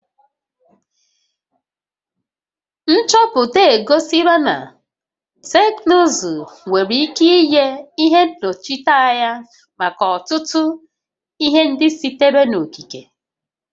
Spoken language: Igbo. Nchọpụta egosila na teknụzụ nwere ike inye ihe nnọchiteanya maka ọtụtụ ihe ndị sitere n'okike